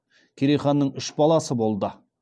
керей ханның үш баласы болды